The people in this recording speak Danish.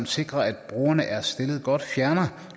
sikre at brugerne er stillet godt fjerner